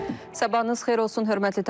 Sabahınız xeyir olsun, hörmətli tamaşaçılar.